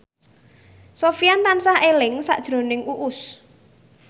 Sofyan tansah eling sakjroning Uus